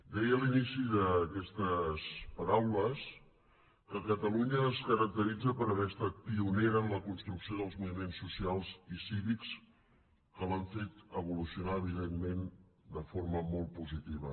deia a l’inici d’aquestes paraules que catalunya es caracteritza per haver estat pionera en la construcció dels moviments socials i cívics que l’han fet evolucionar evidentment de forma molt positiva